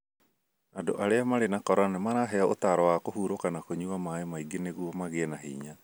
Andũ arĩa marĩ na corona nĩ maraheo ũtaaro wa kũhurũka na kũnyua maaĩ maingĩ nĩguo magĩe na hinya.